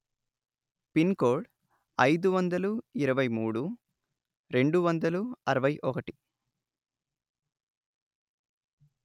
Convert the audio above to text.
pin code అయిదు వందలు ఇరవై మూడు రెండు వందలు అరవై ఒకటి